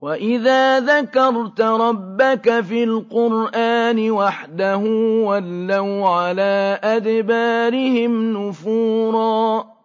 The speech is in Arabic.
وَإِذَا ذَكَرْتَ رَبَّكَ فِي الْقُرْآنِ وَحْدَهُ وَلَّوْا عَلَىٰ أَدْبَارِهِمْ نُفُورًا